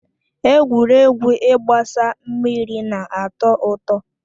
Egwuregwu ịgbasa mmiri na atọ ụtọ.